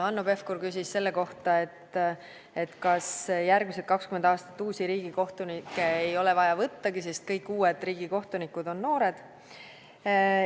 Hanno Pevkur küsis selle kohta, kas järgmised 20 aastat uusi riigikohtunikke ei olegi vaja võtta, sest kõik uued riigikohtunikud on noored.